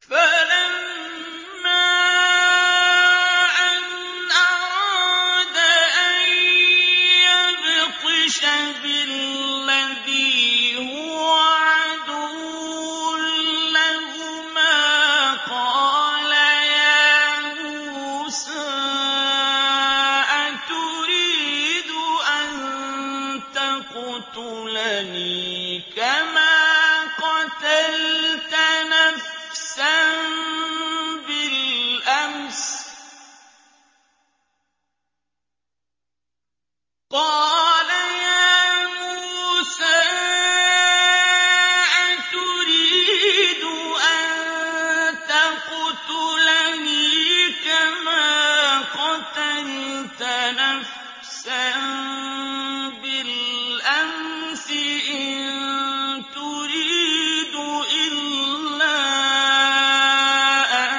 فَلَمَّا أَنْ أَرَادَ أَن يَبْطِشَ بِالَّذِي هُوَ عَدُوٌّ لَّهُمَا قَالَ يَا مُوسَىٰ أَتُرِيدُ أَن تَقْتُلَنِي كَمَا قَتَلْتَ نَفْسًا بِالْأَمْسِ ۖ إِن تُرِيدُ إِلَّا أَن